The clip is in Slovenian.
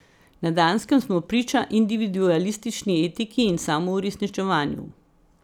Na Danskem smo priča individualistični etiki in samouresničevanju.